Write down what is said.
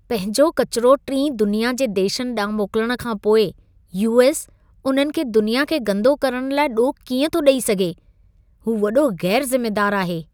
पंहिंजो किचिरो टीं दुनिया जे देशनि ॾांहुं मोकिलण खां पोइ, यू.एस. उन्हनि खे दुनिया खे गंदो करण लाइ ॾोह कीअं थो ॾेई सघे? हू वॾो ग़ैरु ज़िमेदारु आहे।